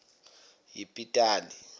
yepitali